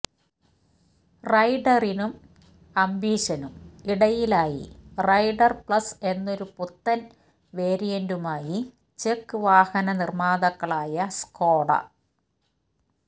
റൈഡറിനും അംബീഷനും ഇടയിലായി Rider Plus എന്നൊരു പുത്തൻ വേരിയന്റുമായി ചെക്ക് വാഹന നിർമാതാക്കളായ സ്കോഡ